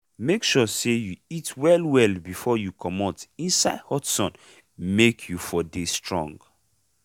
make sure say you eat well well befor you comot inside hot sun make u for dey strong.